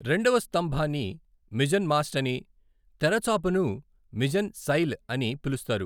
రెండవ స్తంభాన్ని mizzen mast అని, తెరచాపను మిజెన్ సైల్ అని పిలుస్తారు.